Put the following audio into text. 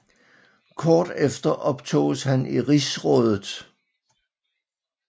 Kort efter optoges han i Rigsrådet